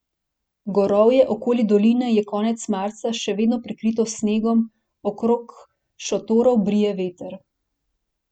Gorovje okoli doline je konec marca še vedno prekrito s snegom, okrog šotorov brije veter.